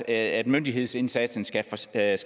at myndighedsindsatsen skal forstærkes